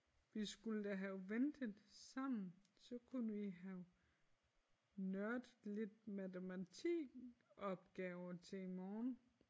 Vi skulle da have ventet sammen så kunne vi have nørdet lidt matematikopgaver til i morgen